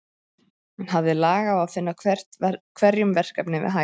Hann hafði lag á að finna hverjum verkefni við hæfi.